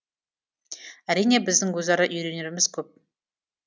әрине біздің өзара үйренеріміз көп